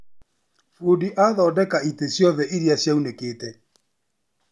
Fundi athondeka itĩ ciothe iria ciraunĩkĩte.